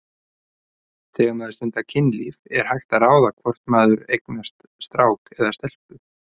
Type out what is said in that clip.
Þegar maður stundar kynlíf er hægt að ráða hvort maður eignast strák eða stelpu?